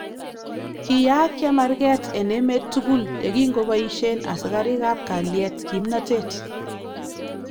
Kiyaak chemarket en emeet tukul yekinko bayishen asikariikab kalyet kimnatet